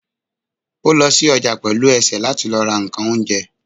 o lo sí ojà pelú esé latí lọ ra nkán oúnjẹ